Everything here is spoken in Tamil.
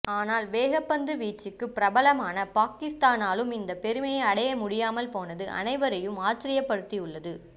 ஆனால் வேகப்பந்துவீச்சுக்குப் பிரபலமான பாகிஸ்தானாலும் இந்தப் பெருமையை அடைய முடியாமல் போனது அனைவரையும் ஆச்சர்யப்படுத்தியுள்ளது